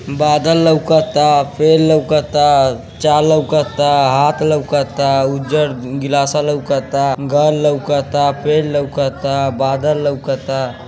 बादल लउकता फेर लउकता चा लउकता हाथ लउकता उजड़ गिलासा लउकता घर लउकता पेड़ लउकता बादल लउकता --